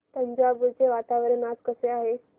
तंजावुर चे वातावरण आज कसे आहे